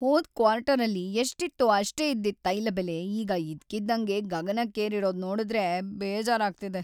ಹೋದ್‌ ಕ್ವಾರ್ಟರಲ್ಲಿ ಎಷ್ಟಿತ್ತೋ ಅಷ್ಟೇ ಇದ್ದಿದ್ ತೈಲ ಬೆಲೆ ಈಗ ಇದ್ಕಿದ್ದಂಗೆ ಗಗನಕ್ಕೇರಿರೋದ್‌ ನೋಡುದ್ರೆ ಬೇಜಾರಾಗ್ತಿದೆ.